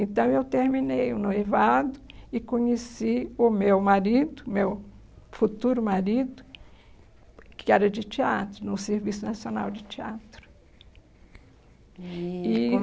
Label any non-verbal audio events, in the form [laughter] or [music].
Então eu terminei o noivado e conheci o meu marido, meu futuro marido, que era de teatro, no Serviço Nacional de Teatro. E [unintelligible]